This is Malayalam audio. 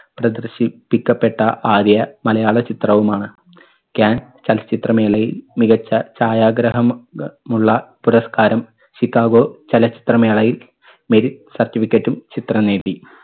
പ്രദർഷിപ്പിക്കപ്പെട്ട ആദ്യ മലയാള ചിത്രവുമാണ്. കാൻ ചലച്ചിത്ര മേളയിൽ മികച്ച ഛായാഗ്രഹം ഉം മുള്ള പുരസ്കാരം can ചലച്ചിത്ര മേളയിൽ മികച്ച ഛായാഗ്രഹം മുള്ള പുരസ്കാരം ചിക്കാഗോ ചലച്ചിത്ര മേളയിൽ merit certificate ഉം ചിത്രം നേടി.